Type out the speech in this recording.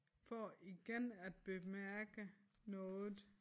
For igen at bemærke noget